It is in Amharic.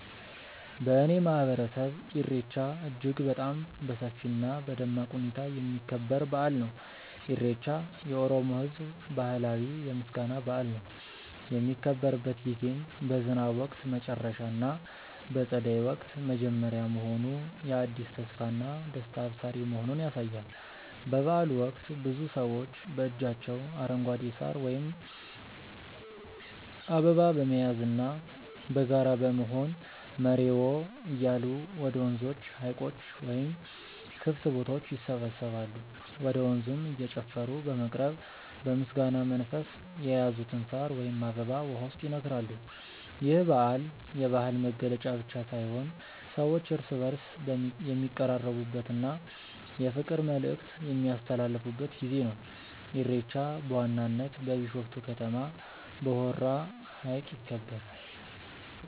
በእኔ ማህበረሰብ ኢሬቻ እጅግ በጣም በሰፊ እና በደማቅ ሁኔታ የሚከበር በአል ነው። ኢሬቻ የኦሮሞ ህዝብ ባህላዊ የምስጋና በአል ነው። የሚከበርበት ጊዜም በዝናብ ወቅት መጨረሻ እና በፀደይ ወቅት መጀመሪያ መሆኑ የአዲስ ተስፋና ደስታ አብሳሪ መሆኑን ያሳያል። በበአሉ ወቅት ብዙ ሰዎች በእጃቸው አረንጓዴ ሳር ወይም አበባ በመያዝና በጋራ በመሆን "መሬዎ" እያሉ ወደ ወንዞች፣ ሀይቆች ወይም ክፍት ቦታዎች ይሰባሰባሉ። ወደ ወንዙም እየጨፈሩ በመቅረብ በምስጋና መንፈስ የያዙትን ሳር ወይም አበባ ውሃው ውስጥ ይነክራሉ። ይህ በዓል የባህል መገለጫ ብቻ ሳይሆን ሰዎች እርስ በእርስ የሚቀራረቡበት እና የፍቅር መልዕክት የሚያስተላልፉበት ጊዜ ነው። ኢሬቻ በዋናነት በቢሾፍቱ ከተማ በሆራ ሀይቅ ይከበራል።